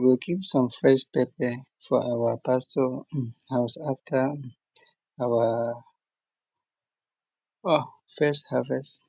i go keep some fresh pepper for our pastor house after our um first harvest